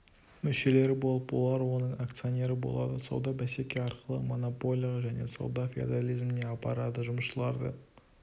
мүшелері болып олар оның акционері болады сауда бәсеке арқылы монополияға және сауда феодализміне апарады жұмысшыларды